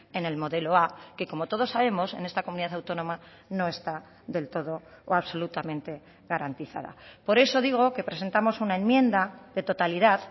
en el modelo a que como todos sabemos en esta comunidad autónoma no está del todo o absolutamente garantizada por eso digo que presentamos una enmienda de totalidad